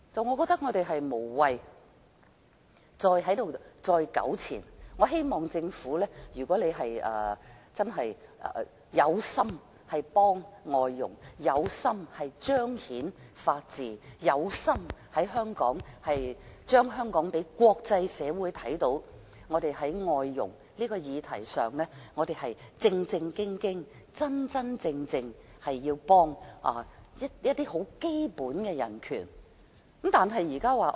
我覺得我們無謂再在此糾纏，我希望政府能真心幫助外傭，彰顯法治，讓國際社會看到香港在外傭的議題上認真提供協助，促進基本人權。